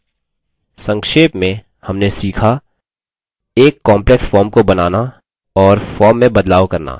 संक्षेप में: हमने सीखा एल complex form को बनाना और form में बदलाव करना